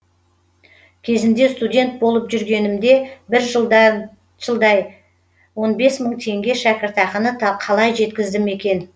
кезінде студент болып жүргенімде бір жылдай он бес мың теңге шәкіртақыны қалай жеткіздім екен